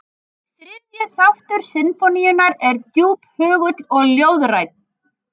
Þriðju þáttur sinfóníunnar er djúphugull og ljóðrænn.